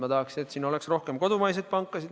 Ma tahaksin, et siin oleks rohkem kodumaiseid pankasid.